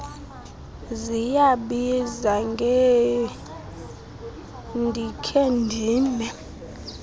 ziyabiza ngendikhe ndime